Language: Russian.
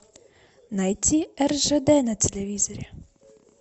найти ржд на телевизоре